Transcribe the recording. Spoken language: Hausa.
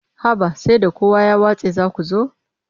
Haba sai da kowa ya watse za ku zo.